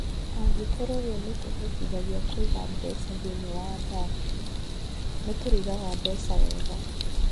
Angĩkorũo ũguo nĩ kũhotithagia kũiga mbeca thĩinĩ wa athaki - nĩ tũrĩigaga mbeca wega.